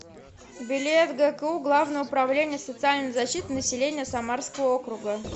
билет гку главное управление социальной защиты населения самарского округа